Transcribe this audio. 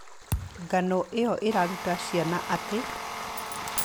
Ng'ano ĩyo ĩraruta ciana atĩ: